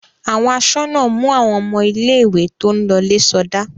Àwọn aṣọ́nà mú àwọn ọmọ ilé-ìwé tó ń lọlé sọdá.